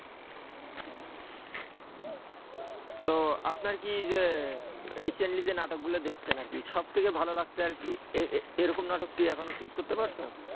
তো আপনার কি যে recently যে নাটকগুলো দেখছেন আর কি সবথেকে ভালো লাগছে আর কি এরকম নাটক কি এখনো choose করতে পারছো?